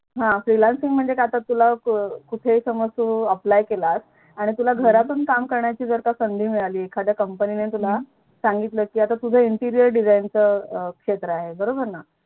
Freelancing म्हणजे आता काय तू कुठे Aplly केलास आणि तुला घरातून काम करायची जर का संधी मिळालाय एखाद्या Comapny ने तुला सांगितलं कि तुझं Interier design च क्षेत्र आहे बरोबर ना